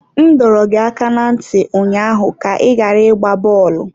M dọrọ gị aka ná ntị ụnyaahụ ka ị ghara ịgba bọọlụ!